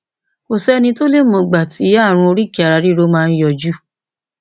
kò sẹni tó lè mọ ìgbà tí ààrùn oríkèéararíro máa ń yọjú